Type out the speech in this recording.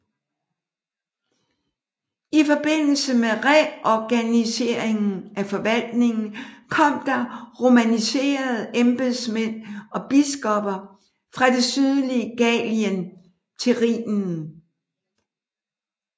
I forbindelse med reorganiseringen af forvaltningen kom der romaniserede embedsmænd og biskopper fra det sydlige Gallien til Rhinen